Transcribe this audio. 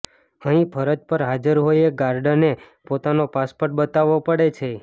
અહીં ફરજ પર હાજર હોય એ ગાર્ડને પોતાનો પાસપોર્ટ બતાવવો પડે છે